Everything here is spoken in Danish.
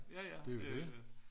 Det er jo det